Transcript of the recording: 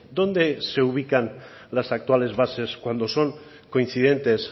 dónde se ubican las actuales bases cuando son coincidentes